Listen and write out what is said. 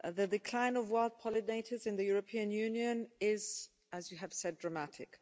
The decline of wild pollinators in the European Union is, as you have said, dramatic.